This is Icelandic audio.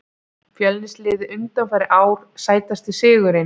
fjölnis liðið undanfarin ár Sætasti sigurinn?